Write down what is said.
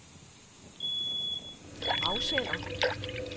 afsender